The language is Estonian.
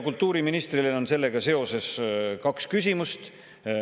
Kultuuriministrile on sellega seoses kaks küsimust.